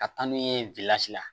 Ka taa n'u ye la